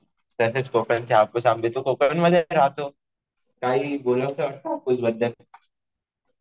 तसेच कोकणचे हापूस आंबे. तू कोकण मध्ये राहतो. काही बोलावंस वाटतं हापूस बद्दल?